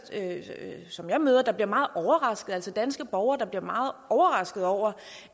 som jeg møder der bliver meget overrasket altså danske borgere der bliver meget overrasket over